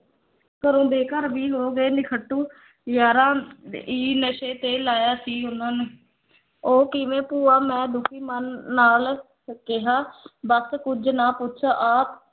ਘਰੋਂ ਬੇ-ਘਰ ਵੀ ਹੋ ਗਏ ਨਿਖੱਟੂ ਯਾਰਾਂ ਈ ਨਸ਼ੇ ਤੇ ਲਾਇਆ ਸੀ ਉਨਾਂ ਨੂੰ ਉਹ ਕਿਵੇਂ ਭੂਆ ਮੈਂ ਦੁੱਖੀ ਮਨ ਨਾਲ ਕ ਕਿਹਾ ਬਸ ਕੁਝ ਨਾ ਪੁੱਛ ਆਹ